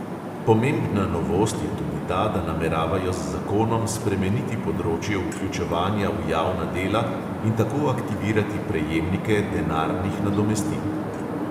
Pomembna novost je tudi ta, da nameravajo z zakonom spremeniti področje vključevanja v javna dela in tako aktivirati prejemnike denarnih nadomestil.